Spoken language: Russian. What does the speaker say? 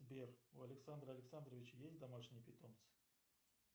сбер у александра александровича есть домашние питомцы